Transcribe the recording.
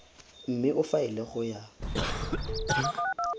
mme o faele go ya